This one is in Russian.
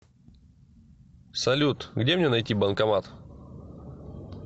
салют где мне найти банкомат